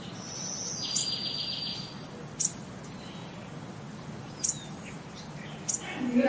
বিহুত